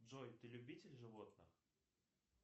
джой ты любитель животных